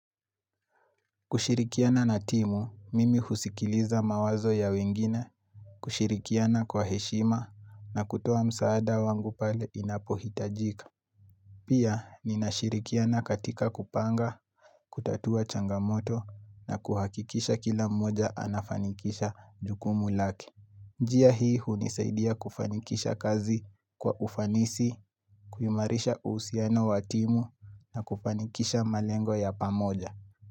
Kushirikiana na timu, mimi husikiliza mawazo ya wengine, kushirikiana kwa heshima na kutoa msaada wangu pale inapohitajika. Pia, ninashirikiana katika kupanga, kutatua changamoto na kuhakikisha kila mmoja anafanikisha jukumu lake. Njia hii hunisaidia kufanikisha kazi kwa ufanisi, kuyumarisha uhusiano wa timu na kufanikisha malengo ya pamoja.